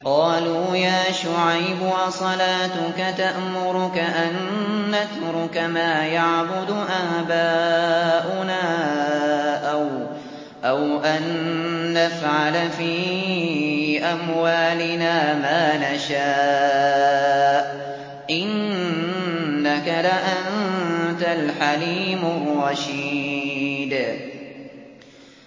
قَالُوا يَا شُعَيْبُ أَصَلَاتُكَ تَأْمُرُكَ أَن نَّتْرُكَ مَا يَعْبُدُ آبَاؤُنَا أَوْ أَن نَّفْعَلَ فِي أَمْوَالِنَا مَا نَشَاءُ ۖ إِنَّكَ لَأَنتَ الْحَلِيمُ الرَّشِيدُ